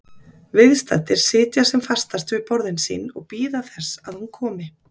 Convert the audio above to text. Viðstaddir sitja sem fastast við borðin sín og bíða þess að hún komi.